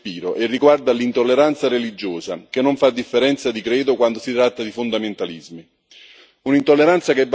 Il tema è di più ampio respiro e riguarda l'intolleranza religiosa, che non fa differenza di credo quando si tratta di fondamentalismi.